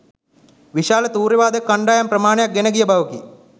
විශාල තූර්ය වාදක කණ්ඩායම් ප්‍රමාණයක් ගෙන ගිය බවකි